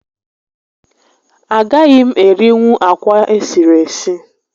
A gaghị m erinwu akwa esiri esi